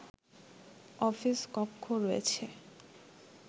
office কক্ষ রয়েছে